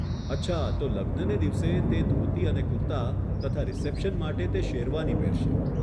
અચ્છા, તો લગ્નને દિવસે, તે ધોતી અને કુર્તા તથા રીસેપ્શન માટે તે શેરવાની પહેરશે.